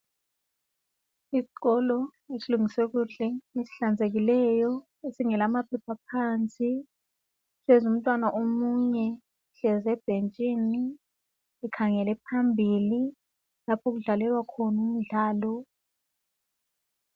Isikolo esilungiswe kuhle esihlanzekileyo esingela amaphepha phansi kuhlezi umntwana omunye uhlezi ebhentshini ekhangele phambili lapho okudlalelwa khona umdlalo.